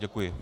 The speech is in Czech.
Děkuji.